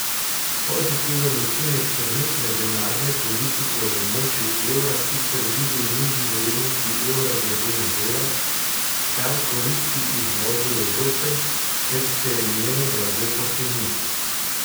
Pozitiven učinek trenutne denarne politike v območju evra sicer vidi v nižji vrednosti evra glede na dolar, kar koristi izvozu Evrope, ker se njeno blago poceni.